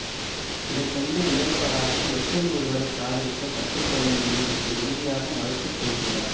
இதைகண்டு வியந்தவராக எப்படி ஒருவரை காதலிக்க கற்று கொள்ள முடியும் என்று உறுதியாக மறுத்து பேசுகிறார்